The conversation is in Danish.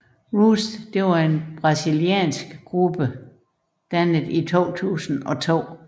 Rouge var en brasiliansk gruppe dannet i 2002